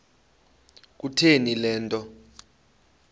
kutheni le nto